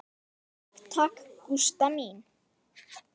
Takk takk, Gústa mín.